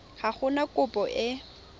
ga go na kopo e